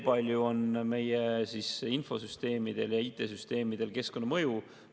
Kui suur on meie infosüsteemide, IT-süsteemide keskkonnamõju?